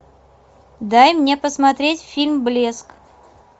дай мне посмотреть фильм блеск